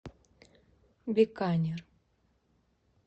биканер